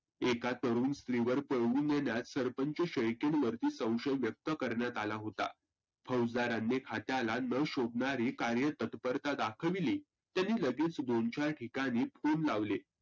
एका तरुण स्रीवर पळवून नेन्याचा सरपंच शेळकें वरती संशय व्यक्त करण्यात आला होता. फौजदारांनी खात्याला न शोभनारी कार्य तत्परता दाखवीली त्यांनी लगेच दोनचार ठिकाणी phone लावले.